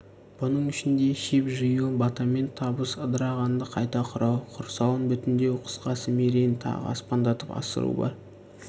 бұның ішінде шеп жию батамен табысу ыдырағанды қайта құрау құрсауын бүтіндеу қысқасы мерейін тағы аспандатып асыру бар